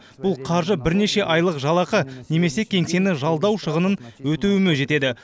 бұл қаржы бірнеше айлық жалақы немесе кеңсені жалдау шығынын өтеуіме жетеді